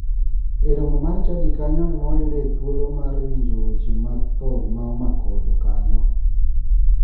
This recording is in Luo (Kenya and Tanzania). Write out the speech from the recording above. E romo mar chadi kanyo ema wayudoe thuolo mar winjo weche mag tho ma omako jokanyo.